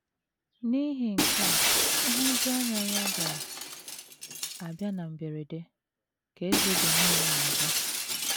“ N’ihi nke a nhụjuanya ya ga - abịa na mberede, ” ka eze Benin na - aza.